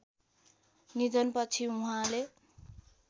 निधनपछि उहाँले